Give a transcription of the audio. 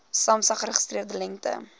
samsa geregistreerde lengte